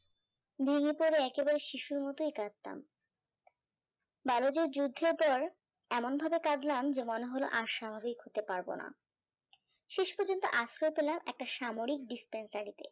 ভেঙে পরে একেবারে শিশুর মতোই কাঁদতাম ব্যালোজের যুদ্ধের পর এমন ভাবে কাঁদলাম যে মনে হলো আর স্বাভাবিক হতে পারবোনা শেষ পর্যন্ত আশ্রয় পেলাম একটা সামরিক dispensary তে